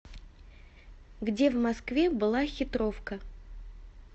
где в москве была хитровка